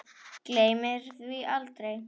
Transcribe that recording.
Gleymir því aldrei.